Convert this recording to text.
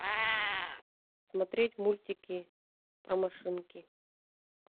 смотреть мультики про машинки